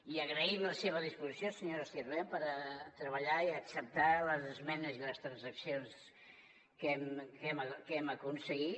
i agraïm la seva disposició senyora sirvent per treballar i acceptar les esmenes i les transaccions que hem aconseguit